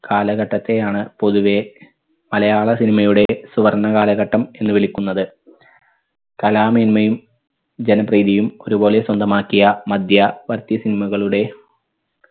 കാലഘട്ടത്തെ ആണ് പൊതുവെ മലയാള cinema യുടെ സുവർണ്ണ കാലഘട്ടം എന്ന് വിളിക്കുന്നത്. കലാമേന്മയും ജനപ്രീതിയും ഒരുപോലെ സ്വന്തമാക്കിയ മദ്യവർത്തി cinema കളുടെ